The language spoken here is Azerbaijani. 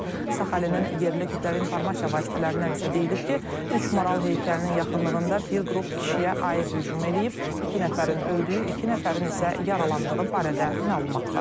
Saxalinin yerli kütləvi informasiya vasitələrindən isə deyilib ki, üç maral heykəlinin yaxınlığında bir qrup kişiyə ayı hücum edib, iki nəfərin öldüyü, iki nəfərin isə yaralandığı barədə məlumat var.